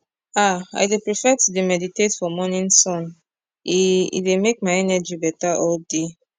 ah i dey prefa to dey meditate for morning sun e e dey make my energi beta all day